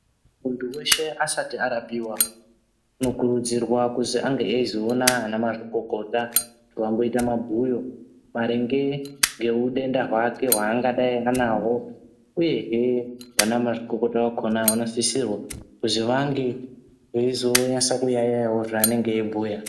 Muntu weshe asati arapiwa unokurudzirwa kuti ange aizoona ana mazvikokota kuti vamboita mabhuyo maringe ngehudenda hwake hwaangadai anahwo uye hee ana mazvikokota vakona vanositsa kuzivange vaizonasa kuyaiyawo zvaunenge aibhuya.